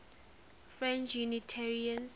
french unitarians